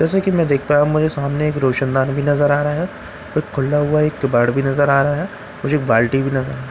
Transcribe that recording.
जैसा की मैं देख पाया मुझे सामने एक रोशनदान भी नज़र आ रहा है एक खुला हुआ केबाड़ भी नज़र आ रहा है मुझे एक बाल्टी भी नज़र आ --